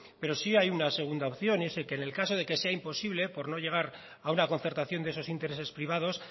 pero sí hay una segunda opción y es que en el caso de que sea imposible por no llegar a una concertación de esos intereses privados